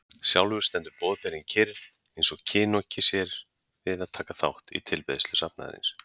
Sjálfur stendur Boðberinn kyrr, eins og kinoki sér við að taka þátt í tilbeiðslu safnaðarins.